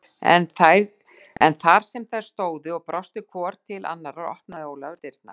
En þar sem þær stóðu og brostu svona hvor til annarrar opnaði Ólafur dyrnar.